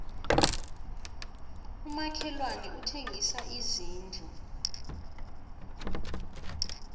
umakhelwani uthengisa izindlu